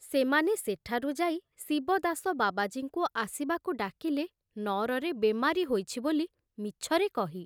ସେମାନେ ସେଠାରୁ ଯାଇ ଶିବଦାସ ବାବାଜୀଙ୍କୁ ଆସିବାକୁ ଡାକିଲେ ନଅରରେ ବେମାରୀ ହୋଇଛି ବୋଲି ମିଛରେ କହି।